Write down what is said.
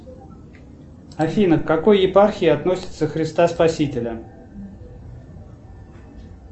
афина к какой епархии относится христа спасителя